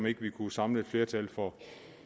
ikke kunne samle flertal for